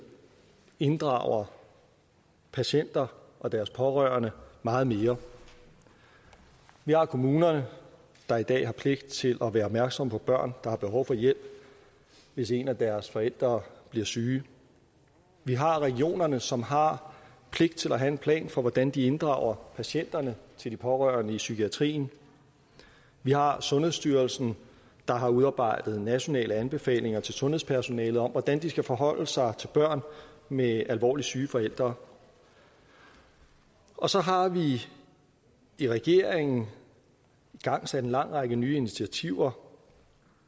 inddrager patienter og deres pårørende meget mere vi har kommunerne der i dag har pligt til at være opmærksomme på børn der har behov for hjælp hvis en af deres forældre bliver syge vi har regionerne som har pligt til at have en plan for hvordan de inddrager patienterne til de pårørende i psykiatrien vi har sundhedsstyrelsen der har udarbejdet nationale anbefalinger til sundhedspersonalet om hvordan de skal forholde sig til børn med alvorligt syge forældre og så har vi i regeringen igangsat en lang række nye initiativer